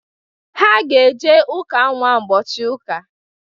Ha ga-eje ụka nnwa ụbọchị ụka.